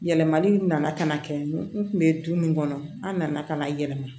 Yɛlɛmali nana ka na kɛ n kun be du min kɔnɔ an nana ka na yɛlɛma